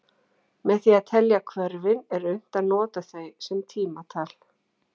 Með því að telja hvörfin er unnt að nota þau sem tímatal.